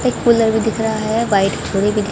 एक कूलर भी दिख रहा है वाइट छुड़ी भी दि--